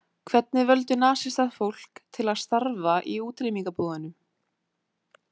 Hvernig völdu nasistar fólk til „starfa“ í útrýmingarbúðunum?